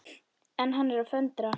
En hann er að föndra.